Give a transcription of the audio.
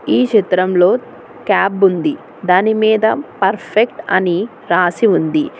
ఈ చిత్రంలో క్యాబ్ ఉంది దానిమీద పర్ఫెక్ట్ అని రాసి ఉంది.